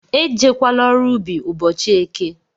Ejekwala ọrụ ubi ụbọchị eke!